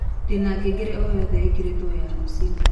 ndĩna ngengere o yotheĩkĩrĩtwo ya rũcĩũ